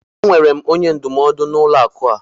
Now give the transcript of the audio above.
Enwere m onye ndụmọdụ n'ụlọ akụ a.